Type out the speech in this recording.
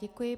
Děkuji.